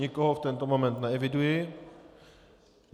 Nikoho v tento moment neeviduji.